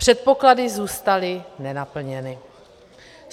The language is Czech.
Předpoklady zůstaly nenaplněny.